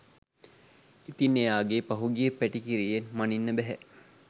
ඉතින් එයාගේ පහුගිය පැටිකිරියෙන් මනින්න බැහැ